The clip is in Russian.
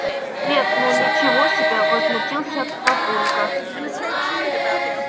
нет ну ничего себе возмутился папулька